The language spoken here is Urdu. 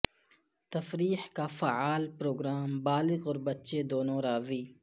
تفریح کا فعال پروگرام بالغ اور بچے دونوں راضی